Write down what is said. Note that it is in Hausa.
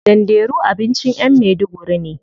Danderu abincin yan maiduguri ne.